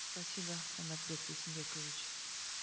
спасибо канатбек бейсенбекович